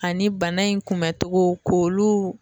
Ani bana in kunbɛtogo k'olu